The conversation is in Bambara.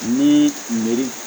Ni miri